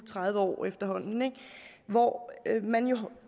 tredive år efterhånden ikke hvor man jo